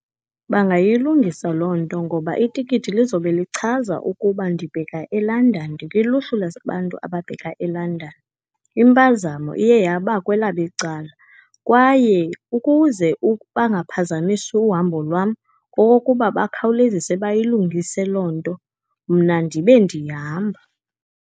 Bangayilungisa loo nto, ngoba itikiti lizobe lichaza ukuba ndibheka eLondon, ndikwiluhlu labantu ababheka eLondon. Impazamo iye yaba kwelabo icala, kwaye ukuze bangaphazamisi uhambo lwam kokokuba bakhawulezise bayilungise loo nto, mna ndibe ndihamba.